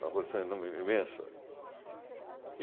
imensa.